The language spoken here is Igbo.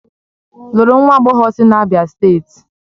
Lụrụ nwa agbọghọ sị Abia steeti!